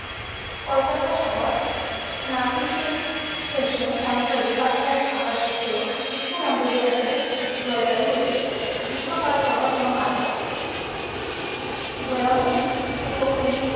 কলকাতা শহর নাতিশীতোষ্ণ অঞ্চলের কাছাকাছি থাকা সত্ত্বেও গ্রীষ্মমন্ডলীয় অঞ্চলের জলবায়ু রয়েছে। গ্রীষ্মকাল গরম এবং আর্দ্রাক। জলাভূমি উপকূলে